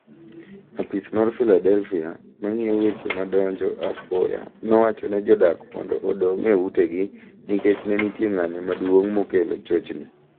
Apis mar Philadelphia mang'iyo weche madonjo apoya nowachone jodak mondo odong' eute gi nikech nenitie ng'anyo maduong' mokelo chochni